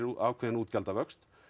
ákveðinn útgjaldavöxt